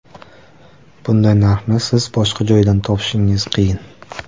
Bunday narxni siz boshqa joydan topishingiz qiyin!